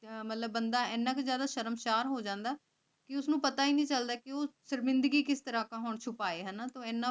ਜਾਹਲ ਬੰਦਾ ਇਹ ਹੈ ਕਿ ਜਦੋਂ ਸ਼ਰਮਸ਼ਾਰ ਹੋ ਜਾਂਦਾ ਕੇ ਓਸਨੂ ਪਤਾ ਈ ਨਾਈ ਚਲਦਾ ਕੇ ਸ਼ਰਮਿੰਦਗੀ ਕਿਸ ਤਰਹ ਛੁਪੇ